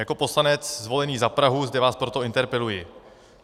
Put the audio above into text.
Jako poslanec zvolený za Prahu zde vás proto interpeluji.